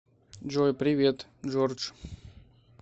джой привет джордж